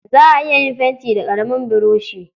Za a iya yin fenti da ƙaramin buroshi.